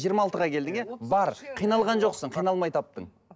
жиырма алтыға келдің иә бар қиналған жоқсың қиналмай таптың